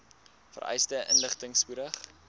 vereiste inligting spoedig